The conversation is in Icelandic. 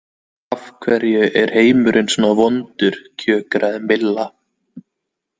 Af hverju er heimurinn svona vondur kjökraði Milla.